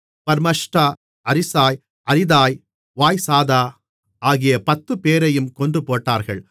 பர்மஷ்டா அரிசாய் அரிதாய் வாய்சாதா ஆகிய பத்துப்பேரையும் கொன்றுபோட்டார்கள்